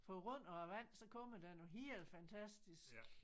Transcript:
På grund af æ vand så kommer nogle helt fantastisk